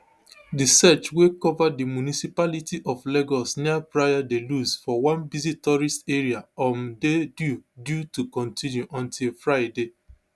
di search wey cover di municipality of lagos near praia da luz for one busy tourist area um dey due due to continue until friday